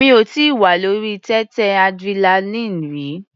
Mi ò tíì wà lórí téńté adrenaline rí.